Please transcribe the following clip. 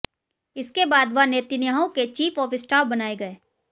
इसके बाद वह नेतन्याहू के चीफ ऑफ स्टाफ बनाए गए